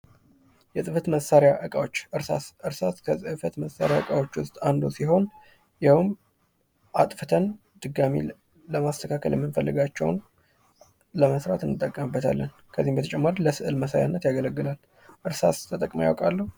የፅህፈት መሳሪያ እቃዎች ፡-እርሳስ ከፅህፈት መሳሪያ እቃዎች ውስጥ አንዱ ሲሆን ያውም አጥፍተን ድጋሜ ለማስተካከል የምንፈልጋቸውን ለመስራት እንጠቀምበታለን። ከዚህም በተጨማሪ ለስዕል መሳያነት ያገለግላል። እርሳስ ተጠቅመው ያውቃሉ?